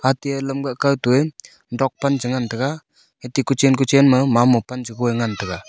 atia lamka kao to e dok pan cha ngan taga ete kuchan kuchan ma mamo pan chagoi ngan taga.